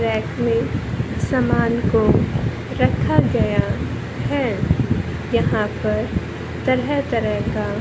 rack में समान को रखा गया है यहां पर तरह तरह का--